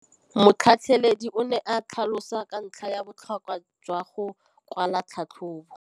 Motlhatlheledi o ne a tlhalosa ka ntlha ya botlhokwa jwa go kwala tlhatlhôbô.